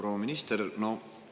Proua minister!